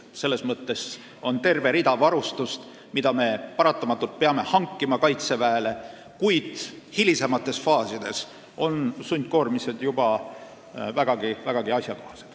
Ma pean silmas, et on terve hulk varustust, mida me paratamatult peame Kaitseväele hankima, kuid hilisemates faasides on sundkoormised juba vägagi asjakohased.